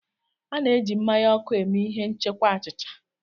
A na-eji mmanya ọkụ eme ihe nchekwa achịcha.